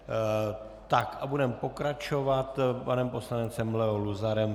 Tak, a budeme pokračovat panem poslancem Leo Luzarem.